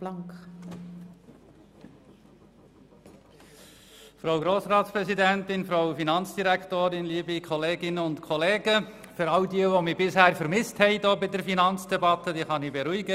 All diejenigen, die mich bisher in der Finanzdebatte vermisst haben, kann ich beruhigen;